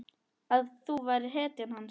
Að þú værir hetjan hans.